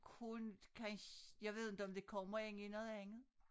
Kun kan jeg ved inte om det kommer ind i noget andet